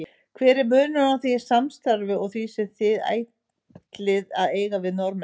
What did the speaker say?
Hver er munurinn á því samstarfi og því sem þið ætlið að eiga við Norðmenn?